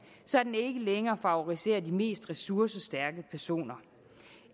så den ikke længere favoriserer de mest ressourcestærke personer